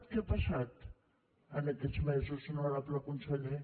què ha passat en aquests mesos honorable conseller